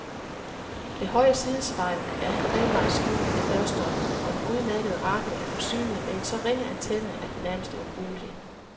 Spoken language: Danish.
Det højre sidespejl er halvvejs skjult af dørstolpen og den udmærkede radio er forsynet med en så ringe antenne, at den nærmest er ubrugelig.